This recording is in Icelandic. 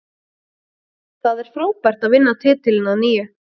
Það er frábært að vinna titilinn að nýju.